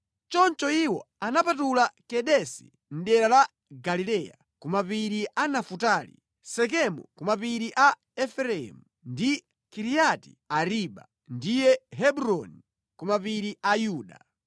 Choncho iwo anapatula Kedesi mʼdera la Galileya ku mapiri a Nafutali, Sekemu ku mapiri a Efereimu, ndi Kiriati Ariba (ndiye Hebroni) ku mapiri a Yuda.